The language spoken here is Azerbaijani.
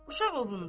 Uşaq ovundu.